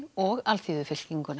og